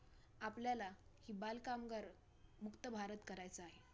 आपल्याला ही बालकामगार मुक्त भारत करायचा आहे.